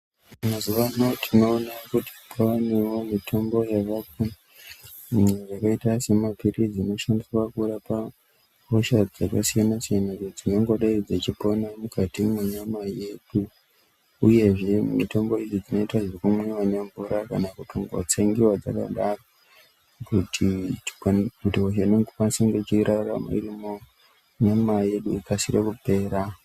Mazuvano tinoona kuti kwanewo mitombo yakaita semapilizi inoshandiswa kurapa hosha dzakasiyana siyana dzinongodai dzechipona mukati mwenyama yedu uyezve mitombo idzi dzinoita zvekumwiwa ne mvura kana kutongo tsengiwa dzakadaro kuti hosha inokwanise kunge ichirarama irimunyama yedu ikasire kupera.